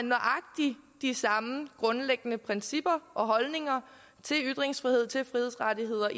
nøjagtig de samme grundlæggende principper og holdninger til ytringsfrihed til frihedsrettigheder